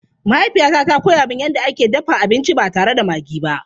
Mahaifiyata ta koya min yadda ake dafa abinci ba tare da maggi ba.